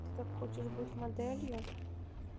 ты так хочешь быть моделью